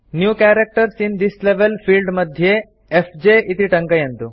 new characters in this level field मध्ये FJ इति टङ्कयन्तु